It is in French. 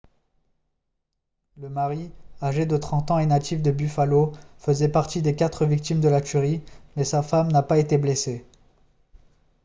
le mari âgé de 30 ans et natif de buffalo faisait partie des quatre victimes de la tuerie mais sa femme n'a pas été blessée